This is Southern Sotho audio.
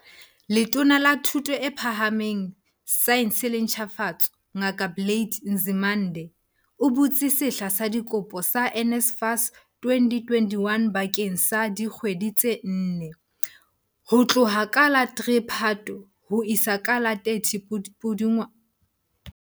Letona la Thuto e Phaha meng, Saense le Ntjhafatso, Ngaka Blade Nzimande, o butse sehla sa dikopo sa NSFAS 2021 bakeng sa dikgwedi tse nne, ho tloha ka la 3 Phato ho isa ka la 30 Pudungwana 2020.